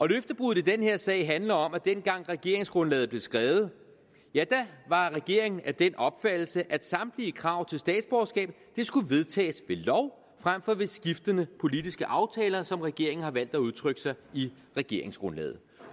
løftebruddet i den her sag handler om at dengang regeringsgrundlaget blev skrevet var regeringen af den opfattelse at samtlige krav til statsborgerskab skulle vedtages ved lov frem for ved skiftende politiske aftaler som regeringen har valgt at udtrykke sig i regeringsgrundlaget